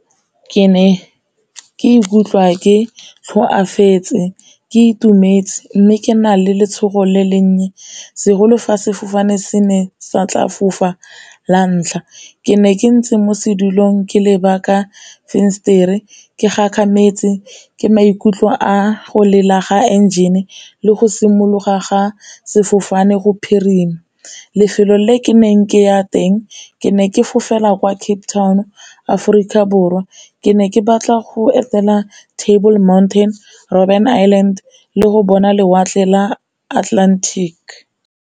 Ke ne ke ikutlwa ke tlhoafetse ke itumetse mme ke na le letshogo le le nnye segolo fa sefofane se ne sa tla fofa la ntlha. Ke ne ke ntse mo sedulong ke leba ka fensetere ke gagametse ke maikutlo a go lela ga enjene le go simologa ga sefofane go phirima. Lefelo le ke neng ke ya teng ke ne ke fofela kwa Cape Town, Aforika Borwa ke ne ke batla go etela Table mountain, Robbin Island le go bona lewatle la Atlantic.